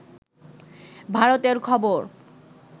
ভারতের খবর